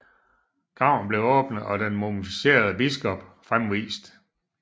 Graven blev åbnet og den mumificerede biskop fremvist